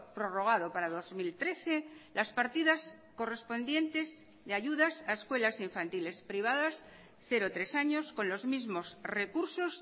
prorrogado para dos mil trece las partidas correspondientes de ayudas a escuelas infantiles privadas cero tres años con los mismos recursos